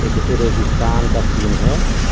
ये किसी रेगिस्तान का सीन हे.